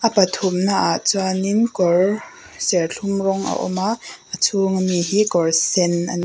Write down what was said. pathumnaah chuanin kawr serthlum rawng a awm a a chhunga mi hi kawr sen a n--